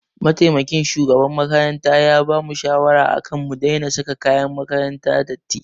Mataimakin shugaban makaranta ya bamu shawara akan mu daina saka kayan makaranta datti.